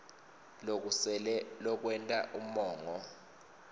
lokusele lokwenta umongo